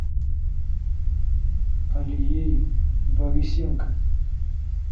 алией борисенко